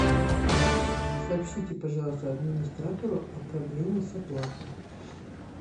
сообщите пожалуйста администратору о проблеме с оплатой